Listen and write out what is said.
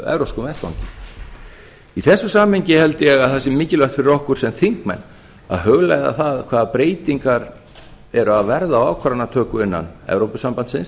evrópskum vettvangi í þessu samhengi held ég að það sé mikilvægt fyrir okkur sem þingmenn að hugleiða það hvaða breytingar eru að verða á ákvarðanatöku innan evrópusambandsins